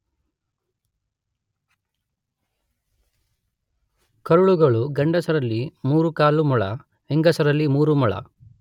ಕರುಳುಗಳು, ಗಂಡಸರಲ್ಲಿ 3 1/2 ಮೊಳ, ಹೆಂಗಸರಲ್ಲಿ 3 ಮೊಳ.